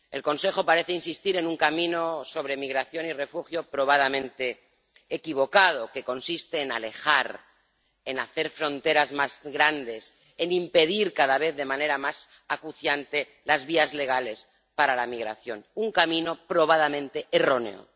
El Consejo parece insistir en un camino sobre migración y refugio probadamente equivocado que consiste en alejar, en hacer fronteras más grandes, en impedir cada vez de manera más acuciante las vías legales para la migración. Un camino probadamente erróneo.